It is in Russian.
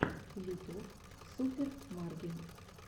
ютуб супер маргин